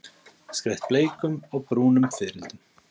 Skreytt bleikum og brúnum fiðrildum.